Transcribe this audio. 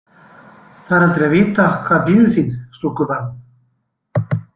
Það er aldrei að vita hvað bíður þín, stúlkubarn.